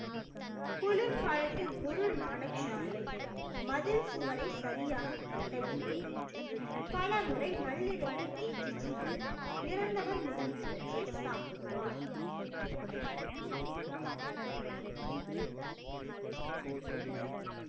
குளிர்காலத்தில் குரு நானக் சாஹிப் மதில் சுவரை சரியாக கட்டவில்லை என்று பலமுறை நள்ளிரவில் ஏற்றி சென்று இறந்தவர் முதலியவற்றை சாப்பிடுவார்